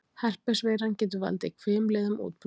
Herpes-veiran getur valdið hvimleiðum útbrotum.